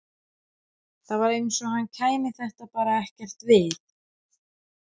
Það var eins og henni kæmi þetta bara ekkert við.